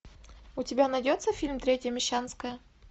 у тебя найдется фильм третья мещанская